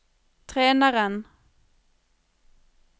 treneren